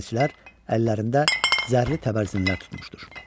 Mühafizəçilər əllərində zərli təbərzinlər tutmuşdur.